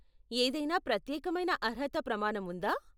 ఏదైనా ప్రత్యేకమైన అర్హత ప్రమాణం ఉందా?